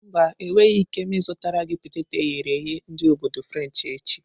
Mba, enweghị m ike ịzụtara gị peteto eghere eghe ndi obodo frenshi echi.